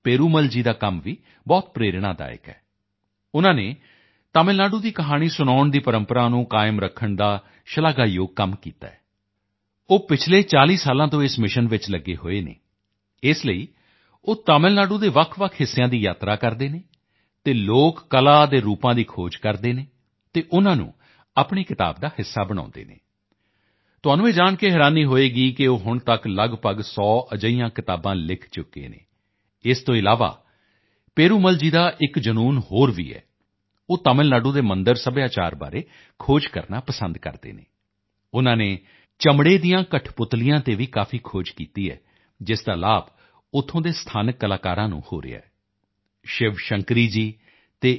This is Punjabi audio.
ਪੇਰੂਮਲ ਜੀ ਦਾ ਕੰਮ ਵੀ ਬਹੁਤ ਪ੍ਰੇਰਣਾਦਾਇਕ ਹੈ ਉਨ੍ਹਾਂ ਨੇ ਤਮਿਲ ਨਾਡੂ ਦੀ ਕਹਾਣੀ ਸੁਣਾਉਣ ਦੀ ਪਰੰਪਰਾ ਨੂੰ ਕਾਇਮ ਰੱਖਣ ਦਾ ਸ਼ਲਾਘਾਯੋਗ ਕੰਮ ਕੀਤਾ ਹੈ ਉਹ ਪਿਛਲੇ 40 ਸਾਲਾਂ ਤੋਂ ਇਸ ਮਿਸ਼ਨ ਵਿੱਚ ਲਗੇ ਹੋਏ ਹਨ ਇਸ ਲਈ ਉਹ ਤਾਮਿਲ ਨਾਡੂ ਦੇ ਵੱਖਵੱਖ ਹਿੱਸਿਆਂ ਦੀ ਯਾਤਰਾ ਕਰਦੇ ਹਨ ਅਤੇ ਲੋਕ ਕਲਾ ਦੇ ਰੂਪਾਂ ਦੀ ਖੋਜ ਕਰਦੇ ਹਨ ਅਤੇ ਉਨ੍ਹਾਂ ਨੂੰ ਆਪਣੀ ਕਿਤਾਬ ਦਾ ਹਿੱਸਾ ਬਣਾਉਂਦੇ ਹਨ ਤੁਹਾਨੂੰ ਇਹ ਜਾਣ ਕੇ ਹੈਰਾਨੀ ਹੋਵੇਗੀ ਕਿ ਉਹ ਹੁਣ ਤੱਕ ਲੱਗਭਗ 100 ਅਜਿਹੀਆਂ ਕਿਤਾਬਾਂ ਲਿਖ ਚੁਕੇ ਹਨ ਇਸ ਤੋਂ ਇਲਾਵਾ ਪੇਰੂਮਲ ਜੀ ਦਾ ਇੱਕ ਜਨੂੰਨ ਹੋਰ ਵੀ ਹੈ ਉਹ ਤਮਿਲ ਨਾਡੂ ਦੇ ਮੰਦਿਰ ਸੱਭਿਆਚਾਰ ਬਾਰੇ ਖੋਜ ਕਰਨਾ ਪਸੰਦ ਕਰਦੇ ਹਨ ਉਨ੍ਹਾਂ ਨੇ ਚਮੜੇ ਦੀਆਂ ਕੱਠਪੁਤਲੀਆਂ ਤੇ ਵੀ ਕਾਫੀ ਖੋਜ ਕੀਤੀ ਹੈ ਜਿਸ ਦਾ ਲਾਭ ਉੱਥੋਂ ਦੇ ਸਥਾਨਕ ਕਲਾਕਾਰਾਂ ਨੂੰ ਹੋ ਰਿਹਾ ਹੈ ਸ਼ਿਵ ਸ਼ੰਕਰੀ ਜੀ ਅਤੇ ਏ